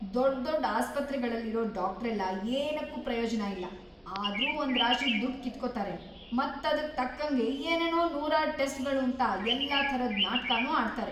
ದೊಡ್ದೊಡ್ ಆಸ್ಪತ್ರೆಗಳಲ್ಲಿರೋ ಡಾಕ್ಟ್ರೆಲ್ಲ ಏನಕ್ಕೂ ಪ್ರಯೋಜ್ನ ಇಲ್ಲ, ಆದ್ರೂ ಒಂದ್ರಾಶಿ ದುಡ್ಡ್‌ ಕಿತ್ಕೋತಾರೆ ಮತ್ತೆ ಅದ್ಕ್‌ ತಕ್ಕಂಗೆ ಏನೇನೋ ನೂರಾರ್‌ ಟೆಸ್ಟ್‌ಗಳೂಂತ ಎಲ್ಲ ಥರದ್ ನಾಟ್ಕನೂ ಆಡ್ತಾರೆ.